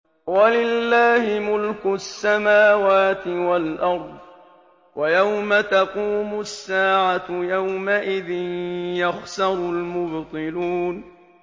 وَلِلَّهِ مُلْكُ السَّمَاوَاتِ وَالْأَرْضِ ۚ وَيَوْمَ تَقُومُ السَّاعَةُ يَوْمَئِذٍ يَخْسَرُ الْمُبْطِلُونَ